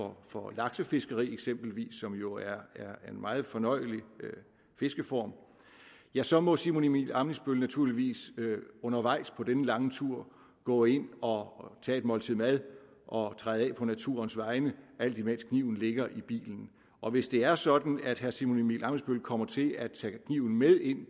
å for laksefiskeri som jo er en meget fornøjelig fiskeform ja så må herre simon emil ammitzbøll naturligvis undervejs på den lange tur gå ind og tage et måltid mad og træde af på naturens vegne alt imens kniven ligger i bilen og hvis det er sådan at herre simon emil ammitzbøll kommer til at tage kniven med ind